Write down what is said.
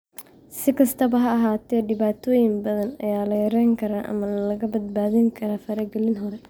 Si kastaba ha ahaatee, dhibaatooyin badan ayaa la yarayn karaa ama lagaga badbaadi karaa faragelin hore.